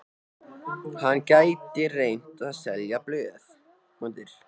Hann gæti reynt að selja blöð.